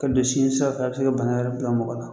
Ka don siɲɛsiraw fɛ a bɛ se ka bana yɛrɛ bila mɔgɔ la